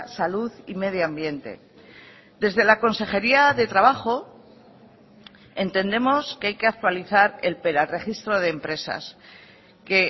salud y medio ambiente desde la consejería de trabajo entendemos que hay que actualizar el registro de empresas que